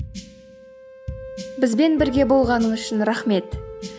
бізбен бірге болғаныңыз үшін рахмет